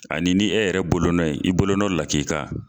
Ani ni e yɛrɛ bolonɔ ye i bolonɔ lakika.